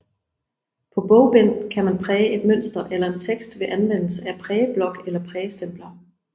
På bogbind kan man præge et mønster eller en tekst ved anvendelse af prægeblok eller prægestempler